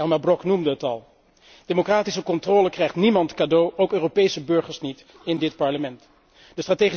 Elmar Brok noemde het al. Democratische controle krijgt niemand cadeau, ook Europese burgers in dit Parlement niet.